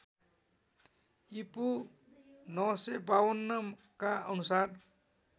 ईपू ९५२ का अनुसार